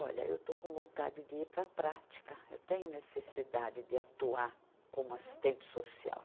Olha, eu estou com vontade de ir para a prática, eu tenho necessidade de atuar como assistente social.